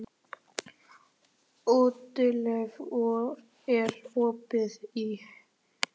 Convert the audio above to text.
Oddleif, er opið í HÍ?